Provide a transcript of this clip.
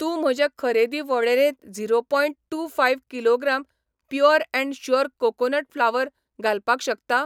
तूं म्हजे खरेदी वळेरेंत zero point two five kilogram pure and sure coconut flour घालपाक शकता?